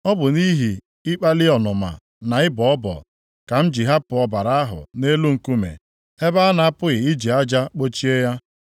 Ọ bụ nʼihi ikpali ọnụma na ịbọ ọbọ ka m ji hapụ ọbara ahụ nʼelu nkume, ebe a na-apụghị iji aja kpochie ya.